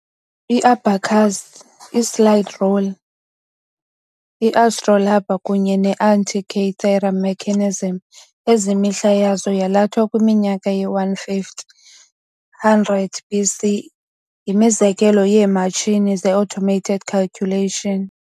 I-abacus, i-slide rule, i-astrolabe kunye ne-Antikythera mechanism, ezimihla yazo yalathwa kwiminyaka ye-150-100 BC, yimizekelo yeematshini ze-automated calculation.